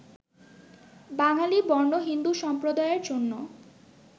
বাঙালি বর্ণ-হিন্দু সম্প্রদায়ের জন্য